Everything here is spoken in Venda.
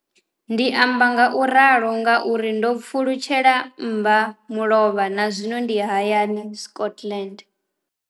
Ndi amba ngauralo nga uri ndo pfulutshela mbamulovha na zwino ndi hayani Scotland.